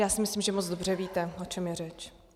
Já si myslím, že moc dobře víte, o čem je řeč.